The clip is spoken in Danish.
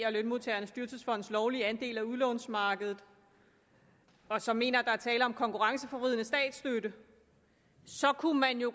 og lønmodtagernes dyrtidsfonds lovlige andel af udlånsmarkedet og som mener at der er tale om konkurrenceforvridende statsstøtte så kunne man jo